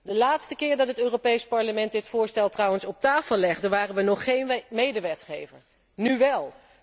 De laatste keer dat het Europees Parlement dit voorstel trouwens op tafel legde, waren we nog geen medewetgever, nu wel.